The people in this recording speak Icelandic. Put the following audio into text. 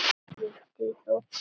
Villtir í þoku